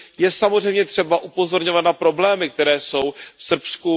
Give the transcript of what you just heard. Je samozřejmě třeba upozorňovat na problémy, které jsou v Srbsku.